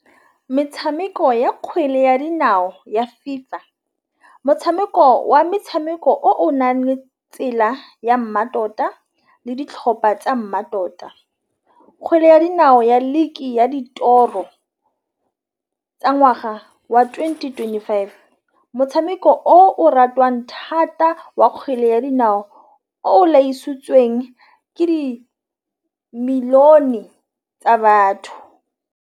Metšhameko ya kgwele ya dinao ya FIFA motšhameko wa metšhameko o nale tsela ya mmatota le ditlhopha tsa mmatota. Kgwele ya dinao ya league ya ditoro tsa ngwaga wa twenty twenty five motšhameko o ratwang thata wa kgwele ya dinao o tlhagisitsweng ke di million e tsa batho.